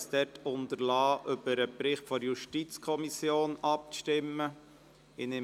Ich habe es dort unterlassen, über den Bericht der JuKo abstimmen zu lassen.